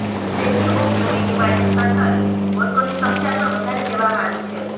statue of unity માટે shuttle બસોની સંખ્યા પણ વધારી દેવામાં આવી છે